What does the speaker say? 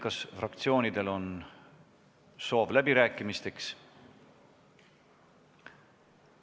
Kas fraktsioonidel on soov läbi rääkida?